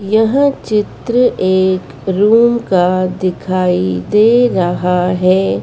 यहाँ चित्र एक रुम का दिखाइ दे रहा है।